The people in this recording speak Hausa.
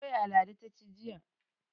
Doya Ladi ta ci jiya.